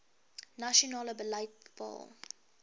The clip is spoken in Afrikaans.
nasionale beleid bepaal